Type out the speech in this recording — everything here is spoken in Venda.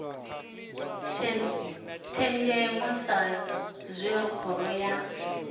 thenzhemo sa zwe khoro ya